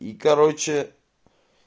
и короче